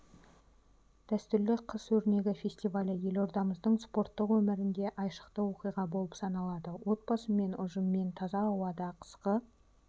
дәстүрлі қыс өрнегі фестивалі елордамыздың спорттық өмірінде айшықты оқиға болып саналады отбасымен ұжыммен таза ауада қысқы